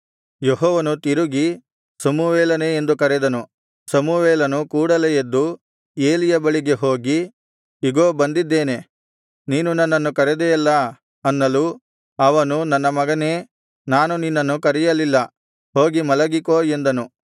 ಯೆಹೋವನು ತಿರುಗಿ ಸಮುವೇಲನೇ ಎಂದು ಕರೆದನು ಸಮುವೇಲನು ಕೂಡಲೆ ಎದ್ದು ಏಲಿಯ ಬಳಿಗೆ ಹೋಗಿ ಇಗೋ ಬಂದಿದ್ದೇನೆ ನೀನು ನನ್ನನ್ನು ಕರೆದೆಯಲ್ಲಾ ಅನ್ನಲು ಅವನು ನನ್ನ ಮಗನೇ ನಾನು ನಿನ್ನನ್ನು ಕರೆಯಲಿಲ್ಲಾ ಹೋಗಿ ಮಲಗಿಕೋ ಎಂದನು